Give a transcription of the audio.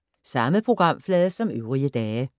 Samme programflade som øvrige dage